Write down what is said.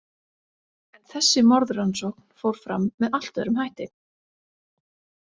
En þessi morðrannsókn fór fram með allt öðrum hætti.